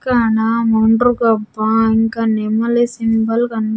ఇక్కడ ముండ్రు కప్ప ఇంకా నెమలి సింబల్ కన్--